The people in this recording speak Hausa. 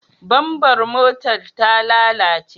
Bamfar motar ta lalace?